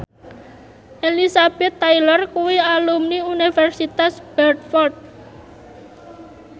Elizabeth Taylor kuwi alumni Universitas Bradford